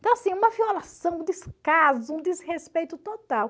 Então, assim, uma violação, um descaso, um desrespeito total.